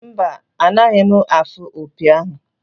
Mba, anaghị m afụ opi ahụ.